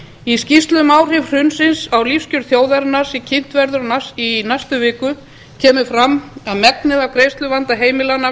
í skýrslu um áhrif hrunsins á lífskjör þjóðarinnar sem kynnt verður strax í næstu viku kemur fram að megnið af greiðsluvanda heimilanna